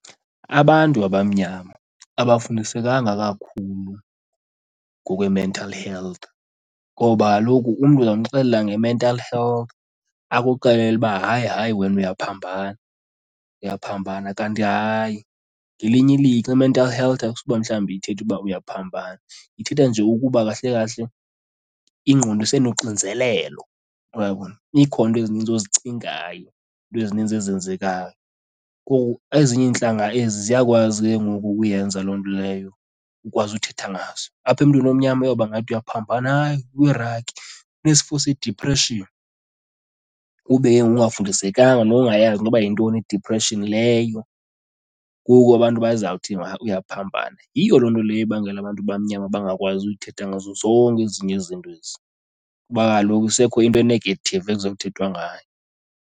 Abantu abamnyama abafundisekanga kakhulu ngokwe-mental health ngoba kaloku umntu ungamxelela nge-mental health akuxelele uba hayi hayi, wena uyaphambana, uyaphambana. Kanti hayi, ngelinye ilihlo i-mental health akusuba mhlawumbi ithetha uba uyaphambana, ithetha nje ukuba kahle kahle ingqondo isenoxinzelelo, uyabona. Ikhona iinto ezininzi ozicingayo, iinto ezininzi ezenzekayo. Ngoku ezinye iintlanga ezi ziyakwazi ke ngoku ukuyenza loo nto leyo ukwazi uthetha ngaso. Apha emntwini omnyama uyobangathi uyaphambana, hayi uyiraki, unesifo sediphreshini, ube ke ngoku ungafundisekanga ungayazi noba yintoni i-depression leyo ngoku abantu bazawuthi uyaphambana. Yiyo loo nto leyo ibangela abantu abamnyama bangakwazi uthetha ngazo zonke ezinye izinto ezi kuba kaloku kusekho into e-negative ekuzawuthethwa ngayo.